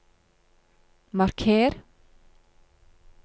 marker